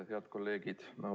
Head kolleegid!